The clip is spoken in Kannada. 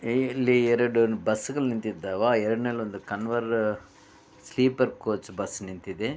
ಹೇ ಇಲ್ಲಿ ಎರಡು ಬಸ್ ಗಳು ನಿಂತಿದ್ದಾವ ಎರಡನೇಲೊಂದು ಕನ್ವರ್ ಸ್ಲೀಪರ್ ಕೋಚ್ ಬಸ್ ನಿಂತಿದೆ.